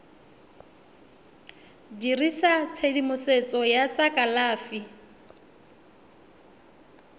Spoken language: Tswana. dirisa tshedimosetso ya tsa kalafi